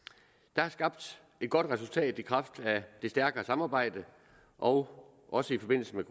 der er skabt et godt resultat i kraft af det stærkere samarbejde og også i forbindelse med